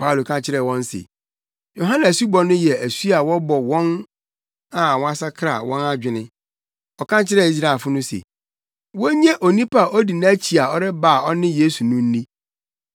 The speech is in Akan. Paulo ka kyerɛɛ wɔn se, “Yohane asubɔ no yɛ asu a wɔbɔ wɔn a wɔsakra wɔn adwene. Ɔka kyerɛɛ Israelfo no se, wonnye onipa a odi nʼakyi a ɔreba a ɔne Yesu no nni.”